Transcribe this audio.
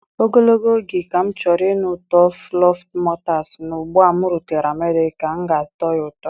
Ogologo oge ka m chọrọ ịnụ ụtọ fluffermutters, ma ugbu a m rutere America, m ga-atọ ya ụtọ.